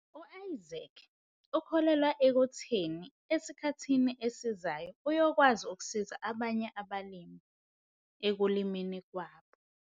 U-Isaac ukholelwa ekutheni esikhathini esizayo uyokwazi ukusiza abanye abalimi ekulimeni kwabo.